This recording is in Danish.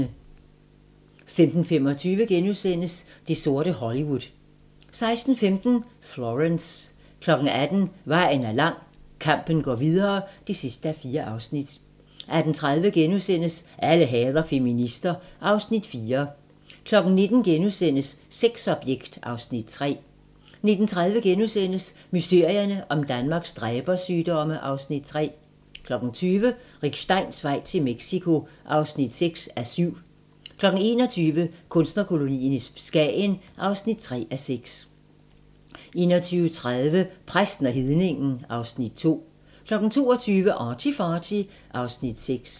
15:25: Det sorte Hollywood * 16:15: Florence 18:00: Vejen er lang - Kampen går videre (4:4) 18:30: Alle hader feminister (Afs. 4)* 19:00: Sexobjekt (Afs. 3)* 19:30: Mysterierne om Danmarks dræbersygdomme (Afs. 3)* 20:00: Rick Steins vej til Mexico (6:7) 21:00: Kunstnerkolonien i Skagen (3:6) 21:30: Præsten og hedningen (Afs. 2) 22:00: ArtyFarty (Afs. 6)